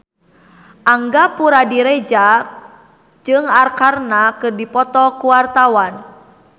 Angga Puradiredja jeung Arkarna keur dipoto ku wartawan